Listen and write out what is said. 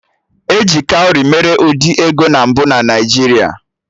E ji kawrị mere ụdị ego na mbụ na Naijiria